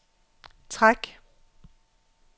træk